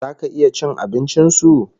Zaka iya cin abincin su$